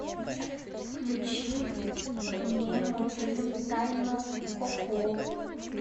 включи мне мультфильм тайну коко